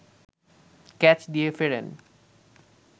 catch দিয়ে ফেরেন